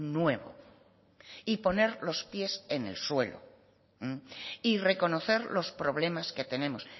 nuevo y poner los pies en el suelo y reconocer los problemas que tenemos